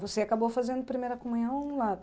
Você acabou fazendo primeira comunhão lá